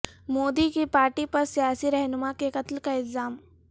مودی کی پارٹی پر سیاسی رہنما کے قتل کا الزام